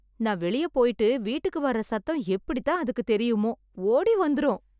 நான் வெளிய போயிட்டு வீட்டுக்கு வர்ற சத்தம் எப்படி தான் அதுக்குத் தெரியுமோ, ஓடி வந்துரும்.